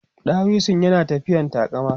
ɗawisun yana tafiyan taƙama